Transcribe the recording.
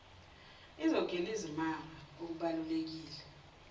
izogila izimanga okubaluleke